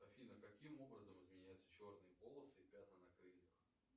афина каким образом изменяются черные полосы и пятна на крыльях